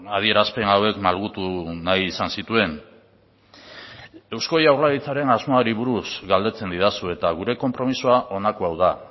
adierazpen hauek malgutu nahi izan zituen eusko jaurlaritzaren asmoari buruz galdetzen didazu eta gure konpromisoa honako hau da